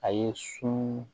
A ye sun